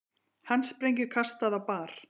Handsprengju kastað á bar